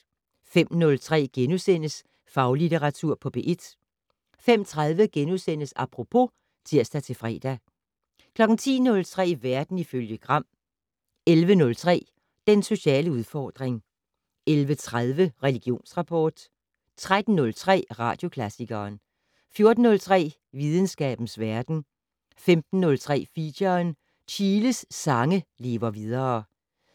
05:03: Faglitteratur på P1 * 05:30: Apropos *(tir-fre) 10:03: Verden ifølge Gram 11:03: Den sociale udfordring 11:30: Religionsrapport 13:03: Radioklassikeren 14:03: Videnskabens verden 15:03: Feature: Chiles sange lever videre